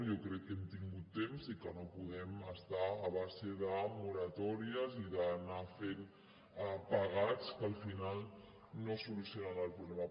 jo crec que hem tingut temps i que no podem estar a base de moratòries i d’anar fent pegats que al final no solucionen el problema